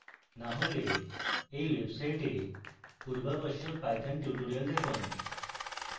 না হলে এই website পূর্ববশ্যক python tutorials দেখুন